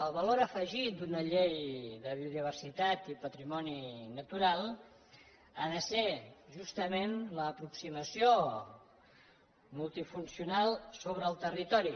el valor afegit d’una llei de biodiversitat i patrimoni natural ha de ser justament l’aproximació multifuncional sobre el territori